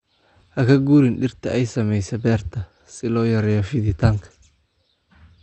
Ha ka guurin dhirta ay saamaysay beerta si loo yareeyo fiditaanka.